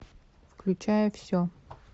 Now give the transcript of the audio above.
включай все